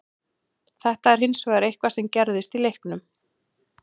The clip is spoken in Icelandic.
Þetta er hins vegar eitthvað sem gerðist í leiknum.